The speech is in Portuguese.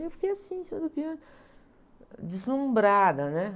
E eu fiquei assim, em cima do piano, deslumbrada, né?